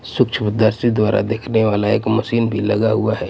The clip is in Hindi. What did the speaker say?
सूक्ष्म दर्शी द्वारा देखने वाला एक मशीन भी लगा हुआ है.